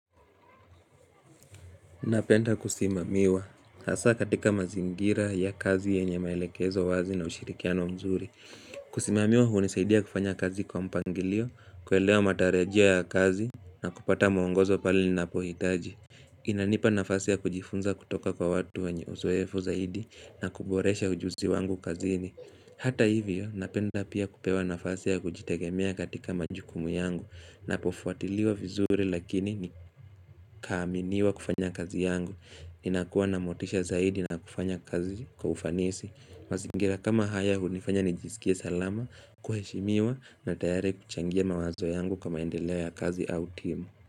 Napenda kusimamiwa, hasa katika mazingira ya kazi yenye maelekezo wazi na ushirikiano mzuri Kusimamiwa huu nisaidia kufanya kazi kwa mpangilio, kuelewa matarejia ya kazi na kupata muongozo pali na pohitaji inanipa nafasia kujifunza kutoka kwa watu wanye uzoefu zaidi na kuboresha ujuzi wangu kazini Hata hivyo, napenda pia kupewa nafasi kujitegemea katika majukumu yangu Napofuatiliwa vizuri lakini nikaminiwa kufanya kazi yangu Ninakuwa na motisha zaidi na kufanya kazi kwa ufanisi masingira kama haya hunifanya nijisikia salama, kuheshimiwa na tayari kuchangia mawazo yangu kama endelewa ya kazi au timu.